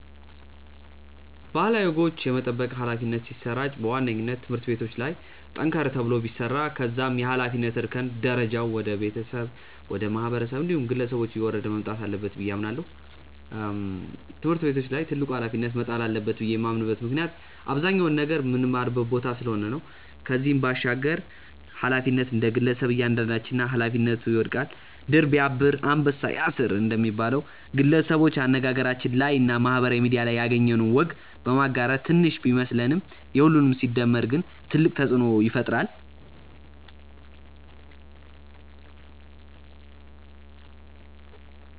ባህላዊ ወጎች የመጠበቅ ኃላፊነት ሲሰራጭ በዋነኝነት ትምህርት ቤቶች ላይ ጠንከር ተብሎ ቢሰራ ከዛም የኃላፊነት እርከን ደረጃው ወደ ቤተሰብ፣ ወደ ማህበረሰብ እንዲሁም ግለሰቦች እየወረደ መምጣት አለበት ብዬ አምናለው። ትምህርት ቤቶች ላይ ትልቁ ኃላፊነት መጣል አለበት ብዬ የማምንበት ምክንያት አብዛኛውን ነገር ምንማርበት ቦታ ስለሆነ ነው። ከዚህም ባሻገር ኃላፊነቱ እንደግለሰብ እያንዳንዳችን ላይ ኃላፊነቱ ይወድቃል። 'ድር ቢያብር አንበሳ ያስር' እንደሚባለው፣ ግለሰቦች አነጋገራችን ላይ እና ማህበራዊ ሚድያ ላይ ያገኘነውን ወግ በማጋራት ትንሽ ቢመስለንም የሁሉም ሲደመር ግን ትልቅ ተጽእኖ ይፈጥራል።